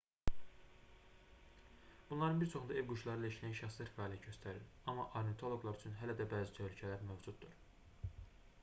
bunların bir çoxunda ev quşları ilə işləyən şəxslər fəaliyyət göstərir amma ornitoloqlar üçün hələ də bəzi təhlükələr mövcuddur